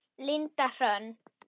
Linda Hrönn.